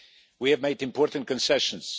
We have made important concessions.